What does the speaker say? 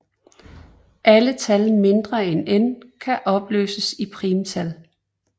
Alle tal mindre end n kan opløses i primtal